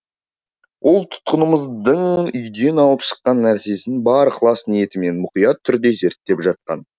ол тұтқынымыздың үйден алып шыққан нәрсесін бар ықылас ниетімен мұқият түрде зерттеп жатқан